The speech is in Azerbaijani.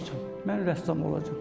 Mən rəssam olacağam.